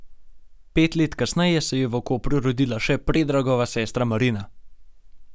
Pet let kasneje se je v Kopru rodila še Predragova sestra Marina.